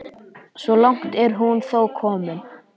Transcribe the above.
Svo langt er hún þó komin.